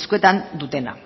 eskuetan dutena